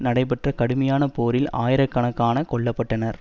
நடைபெற்ற கடுமையான போரில் ஆயிரக்கணக்கான கொல்ல பட்டனர்